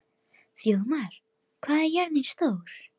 Þjóðmar, hvað er jörðin stór?